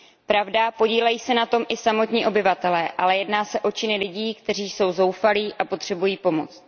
Pravda, podílejí se na tom i samotní obyvatelé, ale jedná se o činy lidí, kteří jsou zoufalí a potřebují pomoc.